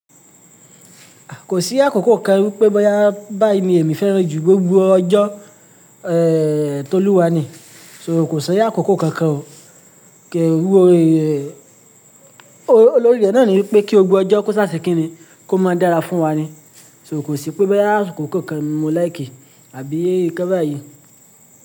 Kò sí àkókò kan wípé boya mi èmi fẹ́rẹ̀ ju gbogbo ọjọ́, è, tó lúwa ni kò sí àkókò kankan o, kí rúu ẹ, olórí rẹ̀ náà ní wípé kí gbogbo ọjọ́ kó sáse kinni kó máa dára fún wa ni, sórí kò sí pé boya àkókò kan ni mo like àbí kẹ́bà yìí.